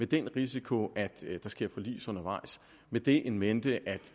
den risiko at der sker forlis undervejs og med det in mente at